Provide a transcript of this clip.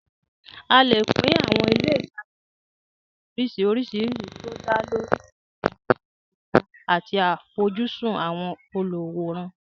A lè pín àwọn ilé ìtajà sí oríṣiríṣi oríṣìíríṣìí tó dá lórí ìwọ̀n wọn, ààyè wọn, àti àfojúsùn àwọn olùwòran.